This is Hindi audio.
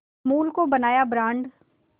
अमूल को बनाया ब्रांड